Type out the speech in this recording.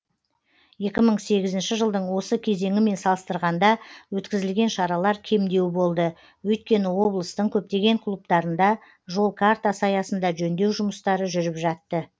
екі мың сегізінші жылдың осы кезеңімен салыстырғанда өткізілген шаралар кемдеу болды өйткені облыстың көптеген клубтарында жол картасы аясында жөндеу жұмыстары жүріп жатты